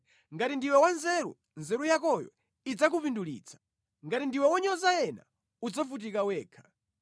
Ngati ndiwe wanzeru, nzeru yakoyo idzakupindulitsa; ngati ndiwe wonyoza ena, udzavutika wekha.